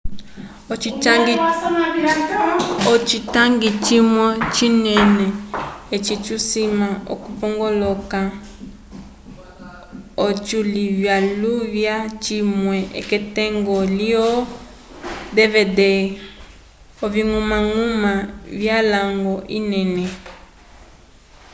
ocitangi cimwe cinene eci tusima okupongolola ociluvyaluvya cimwe k'etungo lyo dvd oviñgumañguma vyalwañgo enene